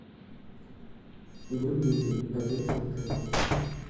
бульмени один килограмм